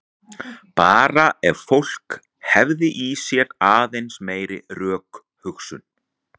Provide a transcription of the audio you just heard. Bara ef fólk hefði í sér aðeins meiri rökhugsun.